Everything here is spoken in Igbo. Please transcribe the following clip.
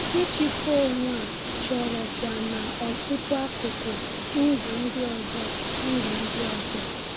Ịchịkwa onwe a chọrọ kwa n’ọtụtụ akụkụ ndụ ndị ọzọ. ndụ ndị ọzọ.